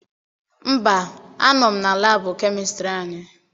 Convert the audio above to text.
Mba, anọ m na laabụ kemistịrị anyị.